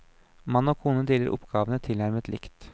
Mann og kone deler oppgavene tilnærmet likt.